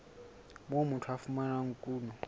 moo motho a fumanang kuno